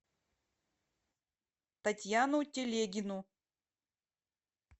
татьяну телегину